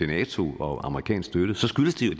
nato og amerikansk støtte skyldes det